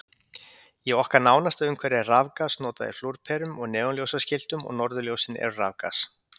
Í okkar nánasta umhverfi er rafgas notað í flúrperum og neonljósaskiltum og norðurljósin eru rafgas.